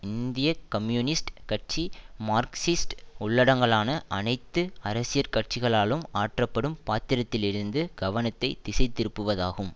இந்திய கம்யூனிஸ்ட் கட்சி மார்க்சிஸ்ட் உள்ளடங்கலான அனைத்து அரசியற் கட்சிகளாலும் ஆற்றப்படும் பாத்திரத்திலிருந்து கவனத்தை திசைதிருப்புவதாகும்